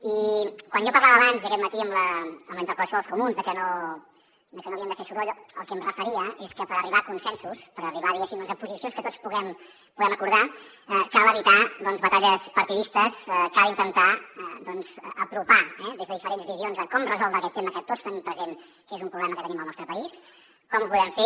i quan jo parlava abans aquest matí en la interpel·lació dels comuns de que no havíem de fer soroll al que em referia és que per arribar a consensos per arribar diguéssim a posicions que tots puguem acordar cal evitar doncs batalles partidistes cal intentar apropar eh des de diferents visions de com resoldre aquest tema que tots tenim present que és un problema que tenim al nostre país com ho podem fer